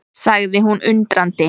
sagði hún undrandi.